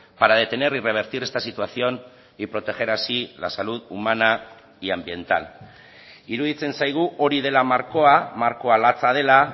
para detener y revertir esta situación y proteger así la salud humana y ambiental iruditzen zaigu hori dela markoa markoa latza dela